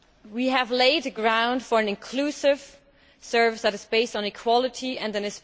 We have laid the ground for an inclusive service that is based on equality and an